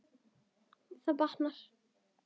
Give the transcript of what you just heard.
Það batnar.